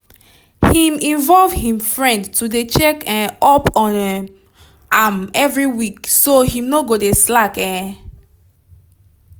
him involve him friend to dey check um up on um am every week so him no go dey slack um